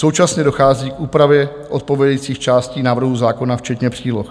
Současně dochází k úpravě odpovídajících částí návrhu zákona včetně příloh.